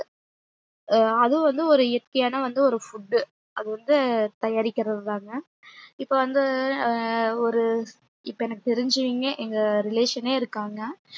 அதுவும் வந்து ஒரு இயற்கையான வந்து ஒரு food அது வந்து தயாரிக்கிறதுதாங்கா இப்ப வந்து ஆஹ் ஒரு இப்ப எனக்கு தெரிஞ்சியுமே எங்க relation னே இருக்காங்க